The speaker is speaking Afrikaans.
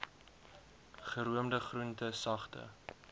geroomde groente sagte